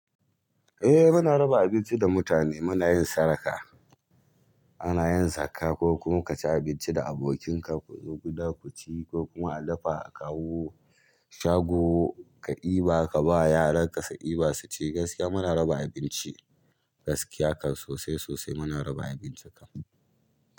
Eh muna raba abinci da mutane, muna yin sadaka, ana yin zakka ko kuma ka ci abinci da abokinka ku zo gida ku ci ko kuma a dafa a kawo shago ka eba ka ba yaran ka su ɗiba su ci gaskiya muna raba abinci gaskiya kan sosai sosai muna raba abinci kan.